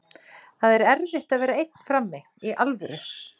Það er erfitt að vera einn frammi, í alvöru.